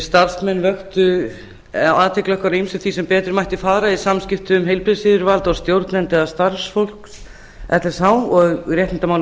starfsmenn vöktu athygli okkar á ýmsu því sem betur mætti fara í samskiptum heilbrigðisyfirvalda og stjórnenda starfsfólks lsh og réttindamálum